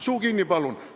Suu kinni, palun!